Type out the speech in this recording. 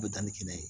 U bɛ danni kɛnɛ ye